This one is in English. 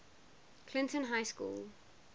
clinton high school